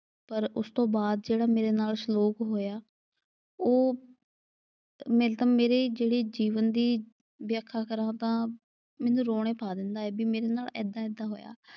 ਪਰ ਉਸ ਤੋਂ ਬਾਅਦ ਜਿਹੜਾ ਮੇਰੇ ਨਾਲ ਸਲੂਕ ਹੋਇਆ। ਉਹ ਮਤਲਬ ਮੇਰੇ ਜੀਵਨ ਦੀ ਜਿਹੜੀ ਵਿਆਖਿਆ ਕਰਾਂ ਤਾਂ, ਮੈਨੂੰ ਰੋਣੇ ਪਾ ਦਿੰਦਾ ਐ ਵੀ ਮੇਰੇ ਨਾਲ ਏਦਾਂ ਏਦਾਂ ਹੋਇਆ।